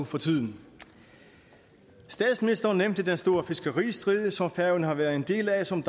for tiden statsministeren nævnte den store fiskeristrid som færøerne har været en del af og som